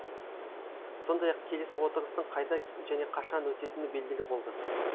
сондай ақ келесі отырыстың қайда және қашан өтетіні белгілі болды